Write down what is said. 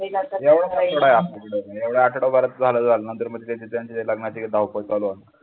एवढच आठवडा आहे आपल्याकडं एवढ्या आठवडयात भारत झाला झालं नंतर मग ते त्यांच्याकडे लग्नाची धावपळ